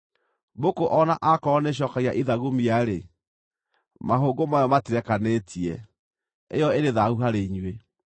Mbũkũ o na aakorwo nĩĩcookagia ithagumia-rĩ, mahũngũ mayo matirekanĩtie; ĩyo ĩrĩ thaahu harĩ inyuĩ.